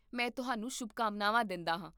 ਮੈਂ ਤੁਹਾਨੂੰ ਸ਼ੁਭਕਾਮਨਾਵਾਂ ਦਿੰਦਾ ਹਾਂ